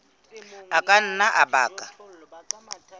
a ka nna a baka